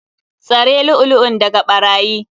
Tsare lu'ulu'un daga ɓarayi.